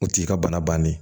O t'i ka bana bannen ye